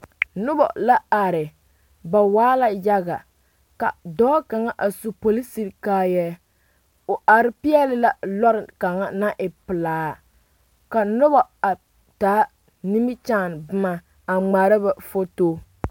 Nona la are ba waa la yaga ka dɔɔ kaŋ a su polisi kaayɛ o are peɛle la lɔre kaŋa naŋ e pelaa ka noba a taa nimikyaane boma a ŋmaara ba foto